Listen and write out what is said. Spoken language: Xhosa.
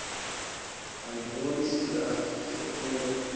andiboni sizathu sokuba